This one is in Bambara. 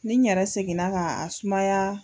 Nin yɛrɛ seginna ka a sumaya.